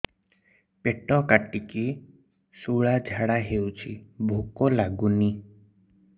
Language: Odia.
ପେଟ କାଟିକି ଶୂଳା ଝାଡ଼ା ହଉଚି ଭୁକ ଲାଗୁନି